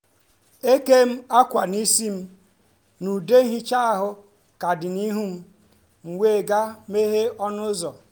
e kèm akwa n’isi m na ude ihicha ahụ ka dị n’ihu m m wee gaa meghee ọnụ ụzọ